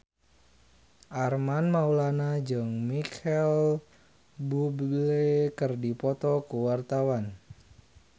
Armand Maulana jeung Micheal Bubble keur dipoto ku wartawan